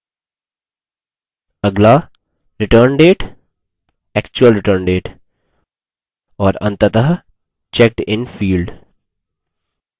अगला return date actual return date